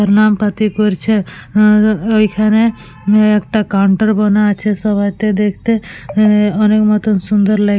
প্রণাম পাতি করছে ওইখানে একটা কাউন্টার বানা আছে সবাইকে দেখতে আহ অনেক মতন সুন্দর লাগছে।